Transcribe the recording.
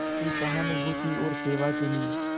की सहानुभूति और सेवा के लिए